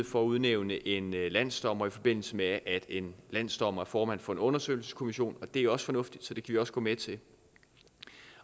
for at udnævne en landsdommer i forbindelse med at en landsdommer er formand for en undersøgelseskommission og det er også fornuftigt vi også gå med til